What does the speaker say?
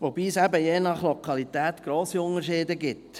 Wobei es eben je nach Lokalität grosse Unterschiede gibt.